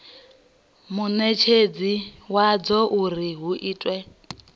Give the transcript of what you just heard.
munetshedzi wadzo uri hu itwe